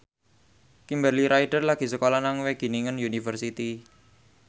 Kimberly Ryder lagi sekolah nang Wageningen University